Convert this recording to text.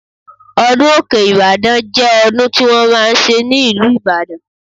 Ọdún òkè Ìbàdàn jẹ́ ọdún tí wọ́n máa ń ṣe ní ìlú Ìbàdàn.